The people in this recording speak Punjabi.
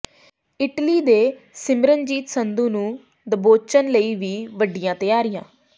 ਇਟਲੀ ਦੇ ਸਿਮਰਨਜੀਤ ਸੰਧੂ ਨੂੰ ਦਬੋਚਣ ਲਈ ਵੀ ਵਿੱਢੀਆਂ ਤਿਆਰੀਆਂ